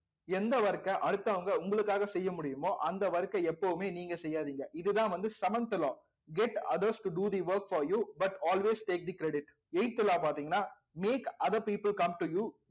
எந்த work அ அடுத்தவங்க உங்களுக்காக செய்ய முடியுமோ அந்த work ஐ எப்பவுமே நீங்க செய்யாதீங்க இதுதான் வந்து seventh get others to do the work for you but always take the credit eighth law ஆ பார்த்தீங்கன்னா make other people come to you